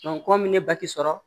kɔmi ne ba ti sɔrɔ